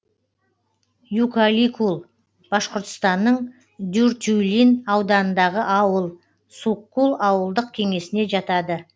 юкаликул башқұртстанның дюртюлин ауданындағы ауыл суккул ауылдық кеңесіне жатады